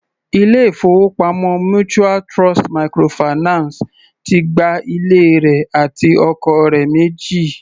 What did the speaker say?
Ilé-ìfowópamọ́ mutual Trust microfinance ti gba ilé rẹ̀ àti ọkọ̀ rẹ̀ méjì.